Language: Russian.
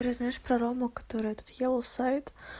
уже знаешь про рому который этот елоу сайт